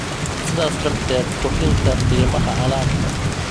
sidaas darteed kordhinta qiimaha alaabta.